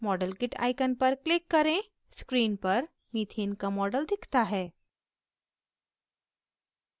modelkit icon पर click करें screen पर methane का model दिखता है